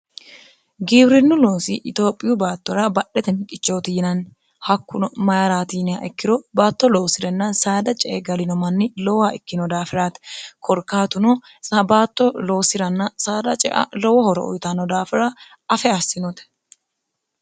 gibirinu loosi itiophiyu baattora badhete miqichooti yinanni hakkuno mayiratiiniya ikkiro baatto loosi'renna saada cee galino manni lowaa ikkino daafiraate korkaatuno baatto loosi'ranna saada cea lowo horo uyitanno daafira afe assinote